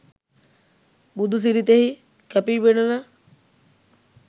බුදු සිරිතෙහි කැපීපෙනෙන